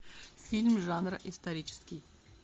фильм жанра исторический